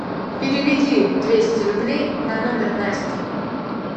переведи двести рублей на номер насти